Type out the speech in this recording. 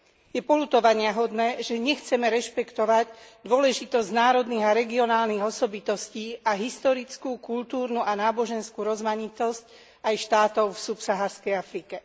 Je poľutovaniahodné, že nechceme rešpektovať dôležitosť národných a regionálnych osobitostí a historickú, kultúrnu a náboženskú rozmanitosť aj štátov v subsaharskej Afrike.